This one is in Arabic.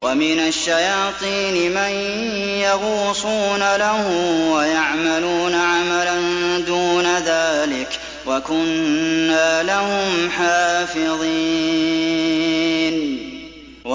وَمِنَ الشَّيَاطِينِ مَن يَغُوصُونَ لَهُ وَيَعْمَلُونَ عَمَلًا دُونَ ذَٰلِكَ ۖ وَكُنَّا لَهُمْ حَافِظِينَ